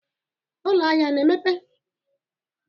Ụlọ ahịa a na-emepe?